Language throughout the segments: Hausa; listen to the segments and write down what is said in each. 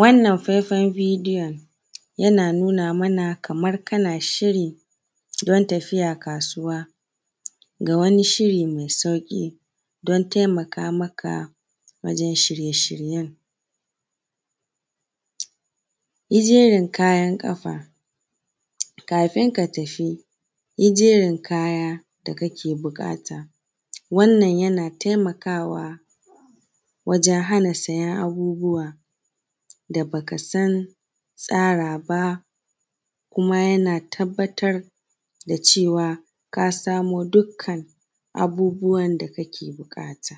Wannan faifen bideyon yana nuna mana Kaman kana shirin tafiya kasuwa, da wani shiri mai sauƙi dan taimaka maka wajen shirye shiryen. Yi jerin kayan ƙafa kafin ka tafi, yi jerin kaya da kake buƙata wannan yana taimaka wajen hana sayen abubuwa da baka tsara ba, kuma yana tabbatar da cewa ka samo dukkan abubuwan da kake buƙata.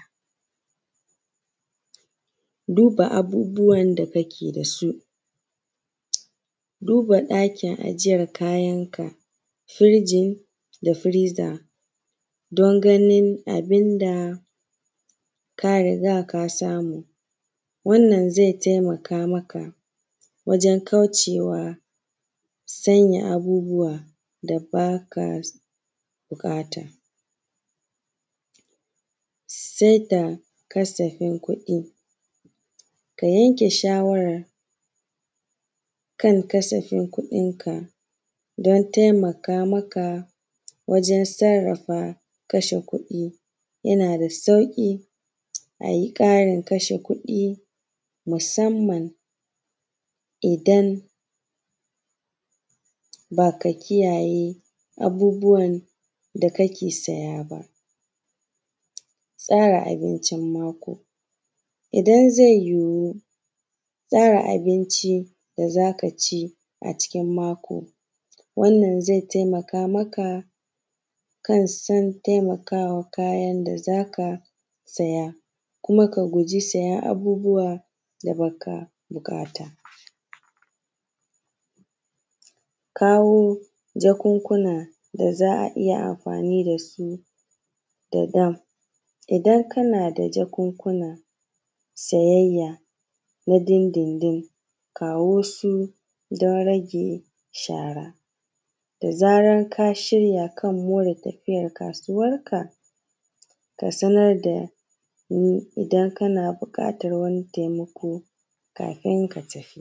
Duba abubuwan da kake dasu buda ɗakin duba ɗakin ajiyan kayanka firijin da firiza don ganin abinda ka riga ka samu, wannan zai taimaka maka wajen kaucewa sanya abubuwa da baba buƙata. Saita kasafin kuɗi ka yanke shawakan kasafin kuɗin ka dan taimaka maka wajen sarrafa kasha kuɗi, yanada sauƙi ayi tsarin kashe kuɗi musamman idan baka kiyaye abubuwan dake siya ba. Tsara abincin mako idan zai yuwu tsara abincin da zakaci ƙarken mako wannan zai taimaka maka Kansan taimakawa kayan da zaka. Kuma ka juji sayen abubuwan da baka buƙata, kawo jakunku na da za’a iyya amfani dasu da dama idan kanada jakunkuna sayayya na dindindin kawo su dan rage shara da zaran kashirya kan more tafiya kasuwar ka kasanar dani idan kana buƙatan wani taimako kafin ka tafi.